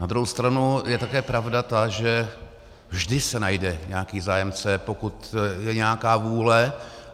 Na druhou stranu je také pravda ta, že vždy se najde nějaký zájemce, pokud je nějaká vůle.